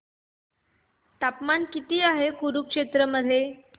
तापमान किती आहे कुरुक्षेत्र मध्ये